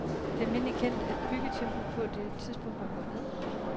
Det er almindelig kendt, at byggetempoet på det tidspunkt var gået ned.